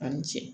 A' ni ce